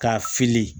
K'a fili